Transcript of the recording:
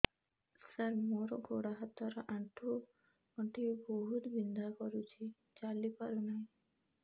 ସାର ମୋର ଗୋଡ ହାତ ର ଆଣ୍ଠୁ ଗଣ୍ଠି ବହୁତ ବିନ୍ଧା କରୁଛି ଚାଲି ପାରୁନାହିଁ